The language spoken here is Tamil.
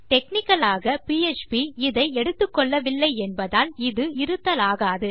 டெக்னிக்கல் ஆக பிஎச்பி இதை எடுத்துக்கொள்ளவில்லை என்பதால் இது இருத்தலாகாது